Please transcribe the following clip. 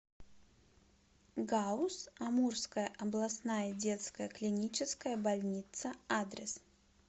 гауз амурская областная детская клиническая больница адрес